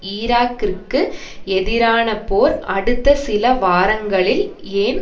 ஈராக்கிற்கு எதிரான போர் அடுத்த சில வாரங்களில் ஏன்